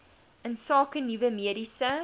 insake nuwe mediese